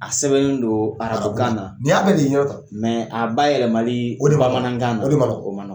A sɛbɛnlen do arabukan na nin y'a bɛɛ de ye i ɲɛna tan a ba yɛlɛmali bamanankan na o de man nɔgɔ.